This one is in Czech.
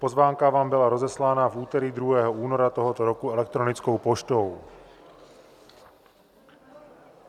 Pozvánka vám byla rozeslána v úterý 2. února tohoto roku elektronickou poštou.